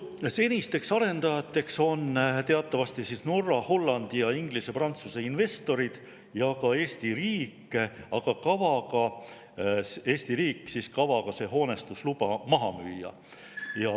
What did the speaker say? Senisteks arendajateks on teatavasti Norra, Hollandi ja Inglise-Prantsuse investorid ja ka Eesti riik, aga Eesti riik siis kavaga see hoonestusluba maha müüa.